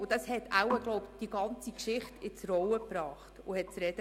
Diese Geschichte geriet in die Medien und gab zu reden.